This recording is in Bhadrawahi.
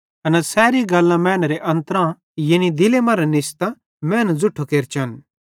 एना सैरी बुरी गल्लां मैनेरे अन्त्रेरां यानी दिले मरां निस्तां मैनू ज़ुट्ठो केरचन